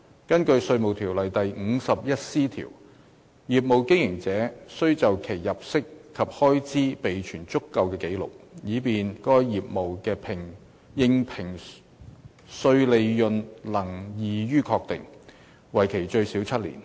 根據《稅務條例》第 51C 條，業務經營者須就其入息及開支備存足夠的紀錄，以便該業務的應評稅利潤能易於確定，為期最少7年。